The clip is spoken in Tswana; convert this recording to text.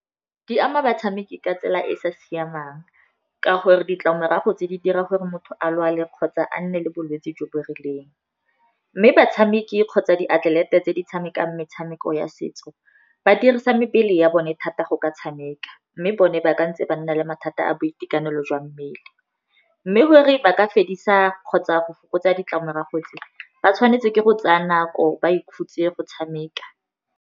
Di ama batshameki ka tsela e e sa siamang ka gore ditlamorago tse di dira gore motho a lwale kgotsa a nne le bolwetse jo bo rileng. Mme batshameki kgotsa diatlelete tse di tshamekang metshameko ya setso, ba dirisa mebele ya bone thata go ka tshameka, mme bone ba ka ntse ba nna le mathata a boitekanelo jwa mmele. Mme gore ba ka fedisa kgotsa go fokotsa ditlamorago tse ba tshwanetse ke go tsaya nako ba ikhutse go tshameka.